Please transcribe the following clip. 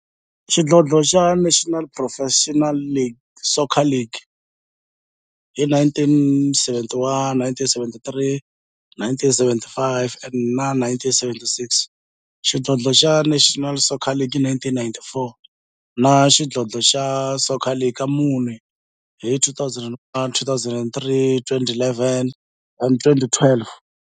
xidlodlo xa National Professional Soccer League hi 1971, 1973, 1975 na 1976, xidlodlo xa National Soccer League hi 1994, na Premier Xidlodlo xa Soccer League ka mune, hi 2001, 2003, 2011 na 2012.